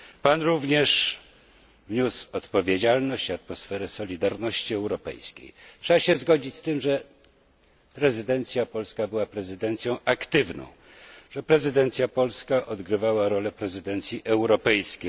Pan również wniósł odpowiedzialność i atmosferę solidarności europejskiej. Trzeba się zgodzić z tym, że prezydencja polska była prezydencją aktywną, że prezydencja polska odgrywała rolę prezydencji europejskiej.